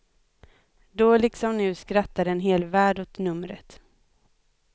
Då liksom nu skrattade en hel värld åt numret.